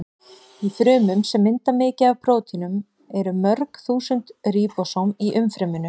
Í frumum sem mynda mikið af prótínum eru mörg þúsund ríbósóm í umfryminu.